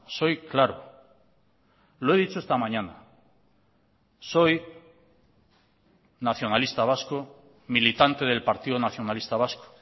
soy claro lo he dicho esta mañana soy nacionalista vasco militante del partido nacionalista vasco